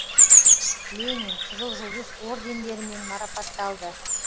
ленин қызыл жұлдыз ордендерімен марапатталды